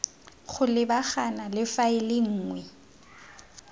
go lebagana le faele nngwe